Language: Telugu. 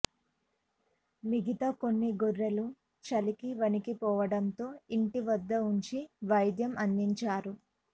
మిగితా కొన్ని గొర్రెలు చలికి వణికిపోవటంతో ఇంటి వద్ద ఉంచి వైద్యం అందించారు